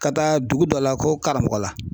Ka taa dugu dɔ la ko Karamɔgɔla.